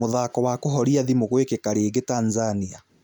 Mũthako wa kũhoria thĩmũgwĩkika rĩngĩ Tanzania.